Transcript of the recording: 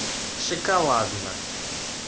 шоколадно